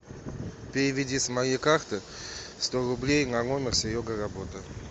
переведи с моей карты сто рублей на номер серега работа